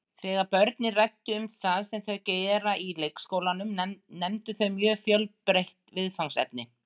Þegar börnin ræddu um það sem þau gera í leikskólanum nefndu þau mjög fjölbreytt viðfangsefni.